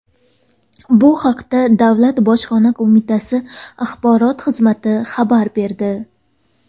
Bu haqda Davlat bojxona qo‘mitasi Axborot xizmati xabar berdi.